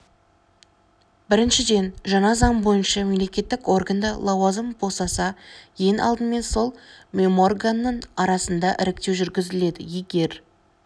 біріншіден жаңа заң бойынша мемлекеттік органда лауазым босаса ең алдымен сол меморганның арасында іріктеу жүргізіледі егер